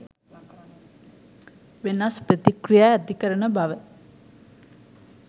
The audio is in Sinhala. වෙනස් ප්‍රතික්‍රියා ඇති කරන බව